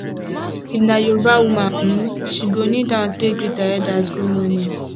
if na yoruba woman um she go kneel down take greet her elders gud morning